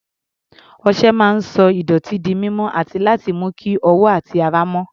Ọṣẹ máa ń sọ ìdọ̀tí di mímọ́ àti láti mú kí ọwọ́ àti ara mọ́.